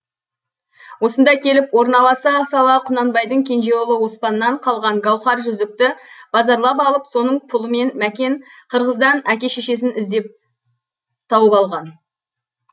осында келіп орналаса сала құнанбайдың кенже ұлы оспаннан қалған гауһар жүзікті базарлап алып соның пұлымен мәкен қырғыздан әке шешесін іздеп тауып алған